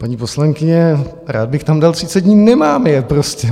Paní poslankyně, rád bych tam dal 30 dní, nemám je prostě.